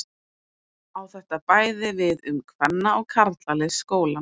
Á þetta bæði við um kvenna- og karlalið skólans.